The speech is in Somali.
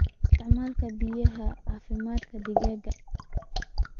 Isticmaal hubiyaha caafimaadka digaaga.